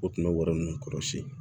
O tun bɛ wari ninnu kɔrɔsiyɛn